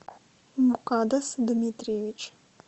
мукаддас дмитриевич